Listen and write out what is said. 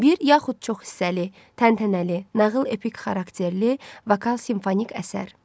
Bir yaxud çox hissəli, təntənəli, nağıl və epik xarakterli vokal simfonik əsər.